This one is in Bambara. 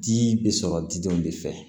Di bɛ sɔrɔ didenw de fɛ